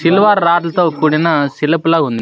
Silver రాడ్ల తో కూడిన సిలుపు లా ఉంది.